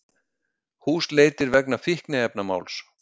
Húsleitir vegna fíkniefnamáls